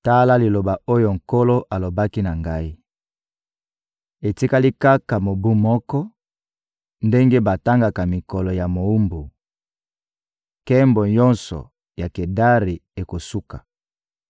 Tala liloba oyo Nkolo alobaki na ngai: «Etikali kaka mobu moko, ndenge batangaka mikolo ya mowumbu, nkembo nyonso ya Kedari ekosuka.